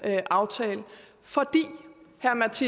folketing